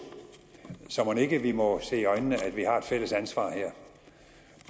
så mon ikke vi må se i øjnene at vi har et fælles ansvar her